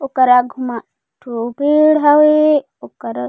ओकर आगू म एक ठो पेड़ हवे ओकर--